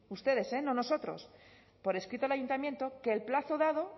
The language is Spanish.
ustedes no nosotros por escrito al ayuntamiento que el plazo dado